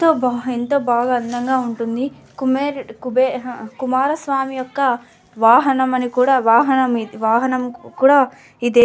ఎంతో బాగ్ ఎంత బాగా అందంగా ఉంటుంది. కుమెర కుబరా ఆహా కుమారస్వామి యొక్క వాహనం అని కూడా వాహనం వాహనం కూడా ఇదే --